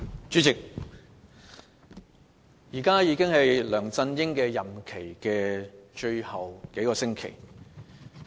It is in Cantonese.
主席，梁振英任期只餘下數星期。